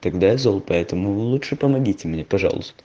тогда зал поэтому вы лучше помогите мне пожалуйста